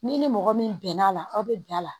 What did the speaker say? N'i ni mɔgɔ min bɛnn'a la aw bɛ bɛn a la